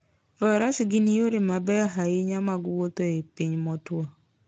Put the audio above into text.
Faras gin yore mabeyo ahinya mag wuotho e piny motwo.